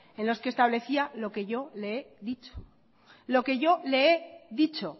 en los que establecía lo que yo le he dicho lo que yo le he dicho